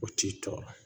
O t'i tɔɔrɔ